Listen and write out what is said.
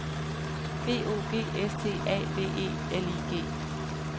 B O G S T A V E L I G